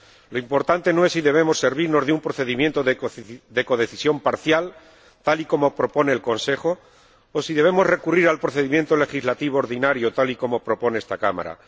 Lo importante no es si debemos servirnos de un procedimiento de codecisión parcial, tal y como propone el Consejo, o si debemos recurrir al procedimiento legislativo ordinario, tal y como propone esta Cámara.